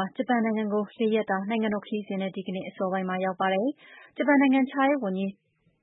ာ ဂျပန်နိုင်ငံကို ၄ ရက်တာ နိုင်ငံတော် ခရီးစဉ်နဲ့ ဒီကနေ့ အစောပိုင်းမှာ ရောက်ရှိပါတယ်။ ဂျပန် နိုင်ငံခြားရေးဝန်ကြီး